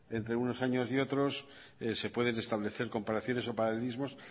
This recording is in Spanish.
entre unos años y otros se pueden establecer comparaciones o paralelismos